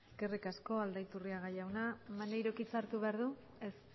eskerrik asko aldaiturriaga jauna maneirok hitza hartu behar du ez